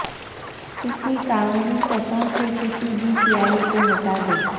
کسی کاغذی سطحوں سے کسی بھی سیاہی کو ہٹا دیں